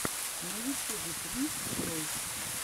на ютюбе принс ройс